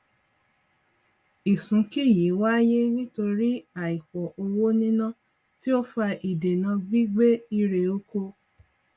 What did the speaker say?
ìsúnkì yìí wáyé nítorí àìpọ owó níná tí ó fa ìdènà gbígbé irè oko